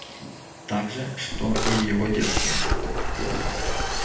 так же что и в его детстве